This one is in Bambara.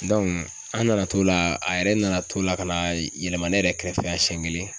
an nana t'o la a yɛrɛ nana t'o la ka na yɛlɛma ne yɛrɛ kɛrɛfɛ yan siɲɛ kelen